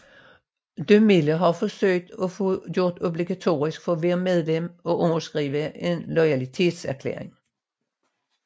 DeMille havde forsøgt at få det gjort obligatorisk for hvert medlem at underskrive en loyalitetserklæring